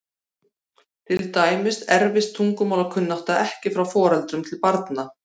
Til dæmis erfist tungumálakunnátta ekki frá foreldrum til barna.